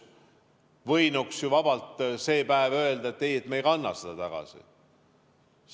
Võinuks ju vabalt see päev öelda, et ei, me ei kanna seda tagasi.